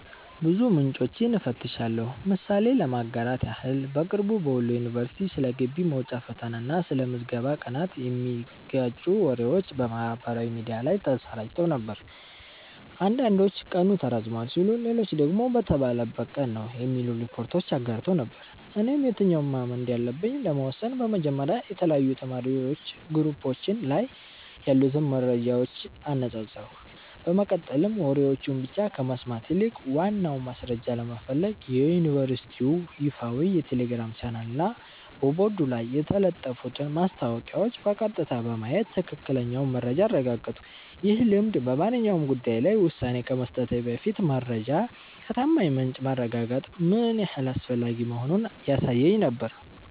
ብዙ ምንጮችን እፈትሻለሁ። ምሳሌ ለማጋራት ያህል፦ በቅርቡ በወሎ ዩኒቨርሲቲ ስለ ግቢ መውጫ ፈተና እና ስለ ምዝገባ ቀናት የሚጋጩ ወሬዎች በማህበራዊ ሚዲያ ላይ ተሰራጭተው ነበር። አንዳንዶች ቀኑ ተራዝሟል ሲሉ፣ ሌሎች ደግሞ በተባለበት ቀን ነው የሚሉ ሪፖርቶችን አጋርተው ነበር። እኔም የትኛውን ማመን እንዳለብኝ ለመወሰን በመጀመሪያ የተለያዩ የተማሪዎች ግሩፖች ላይ ያሉትን መረጃዎች አነጻጸርኩ፤ በመቀጠልም ወሬዎችን ብቻ ከመስማት ይልቅ ዋናውን ማስረጃ ለመፈለግ የዩኒቨርሲቲውን ይፋዊ የቴሌግራም ቻናልና በቦርድ ላይ የተለጠፉትን ማስታወቂያዎች በቀጥታ በማየት ትክክለኛውን መረጃ አረጋገጥኩ። ይህ ልምድ በማንኛውም ጉዳይ ላይ ውሳኔ ከመስጠቴ በፊት መረጃን ከታማኝ ምንጭ ማረጋገጥ ምን ያህል አስፈላጊ መሆኑን ያሳየኝ ነበር።